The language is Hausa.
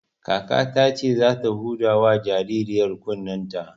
Kakata ce za ta huda wa jaririyar kunnen ta